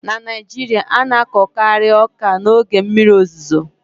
na Naijiria, a na-akọkari ọka n'oge mmiri ozuzo